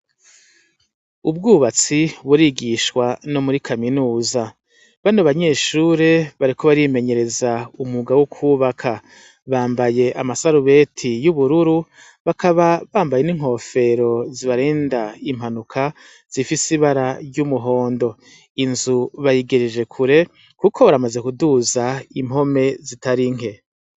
Ubwubatsi burigishwa no muri kaminuza, bano banyeshure bariko barimenyereza umwuga wo kubaka bambaye amasarubeti y'ubururu bakaba bambaye n'inkofero zibarenda impanuka zifise ibara ry'umuhondo. Inzu bayigereje kure kuko baramaze kuduza impome zitari nke.